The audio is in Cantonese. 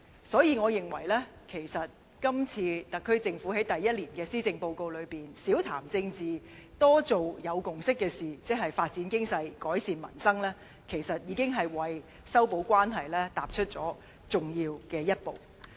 所以，我認為今次特區政府在第一年施政報告中少談政治、多做有共識的事情，即發展經濟、改善民生，其實已是為修補關係踏出重要一步。